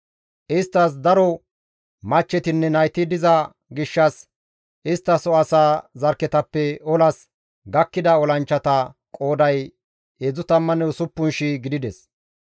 Isttas daro machchetinne nayti diza gishshas isttaso asaa zarkketappe olas gakkida olanchchata qooday 36,000 gidides.